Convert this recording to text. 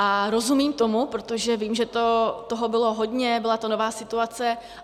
A rozumím tomu, protože vím, že toho bylo hodně, byla to nová situace.